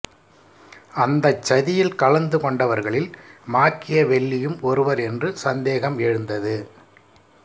அந்தச் சதியில் கலந்து கொண்டவர்களில் மாக்கியவெல்லியும் ஒருவர் என்று சந்தேகம் எழுந்தது